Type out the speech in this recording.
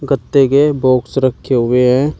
पत्ते के बॉक्स रखे हुए हैं।